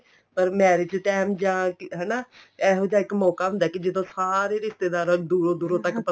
ਪਰ marriage time ਜਾਂ ਹਨਾ ਇਹੋ ਜਾ ਇੱਕ ਮੋਕਾ ਹੁੰਦਾ ਏ ਕੀ ਜਦੋਂ ਸਾਰੇ ਰਿਸ਼ਤੇਦਾਰਾਂ ਨੂੰ ਦੂਰੋ ਦੂਰੋ ਤੱਕ ਪਤਾ